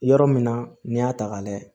Yɔrɔ min na n'i y'a ta k'a layɛ